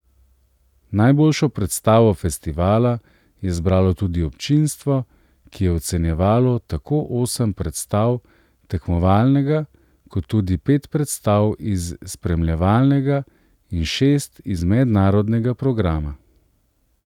Najboljšo predstavo festivala je zbralo tudi občinstvo, ki je ocenjevalo tako osem predstav tekmovalnega kot tudi pet predstav iz spremljevalnega in šest iz mednarodnega programa.